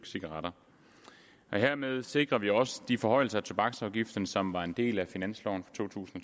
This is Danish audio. cigaretter hermed sikrer vi også de forhøjelser af tobaksafgiften som var en del af finansloven for to tusind